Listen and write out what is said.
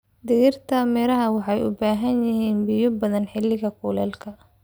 Dhirta miraha waxay u baahan yihiin biyo badan xilliga kulaylka.